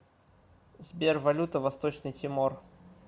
сбер валюта восточный тимор